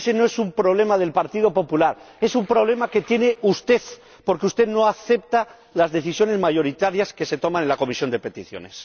Ese no es un problema del Partido Popular es un problema que tiene usted, porque usted no acepta las decisiones mayoritarias que se toman en la Comisión de Peticiones.